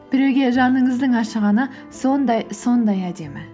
біреуге жаныңыздың ашығаны сондай сондай әдемі